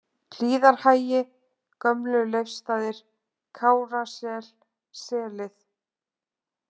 Hlíðarhagi, Gömlu-Leifsstaðir, Kárasel, Selið